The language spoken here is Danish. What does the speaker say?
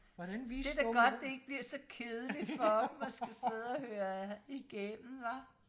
det er da godt det ikke bliver så kedeligt for dem og skal sidde og høre igennem hva